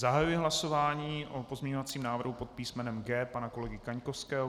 Zahajuji hlasování o pozměňovacím návrhu pod písmenem G pana kolegy Kaňkovského.